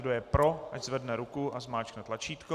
Kdo je pro, ať zvedne ruku a zmáčkne tlačítko.